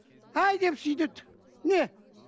әй деп сөйдеді не